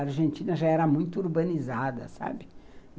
A Argentina já era muito urbanizada, sabe?